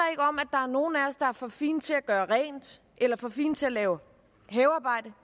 er nogle af os der er for fine til at gøre rent eller for fine til at lave havearbejde